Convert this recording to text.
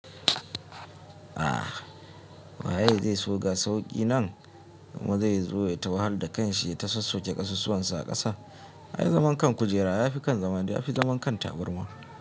A wa ya yi zai so ga sauƙi nan kuma zai zo ya yi tawahal da kanshi ya sassoke ƙasusuwansa a ƙasa? Ai zaman kan kujera ya fi kan zama dai ya fi zaman kan taburma.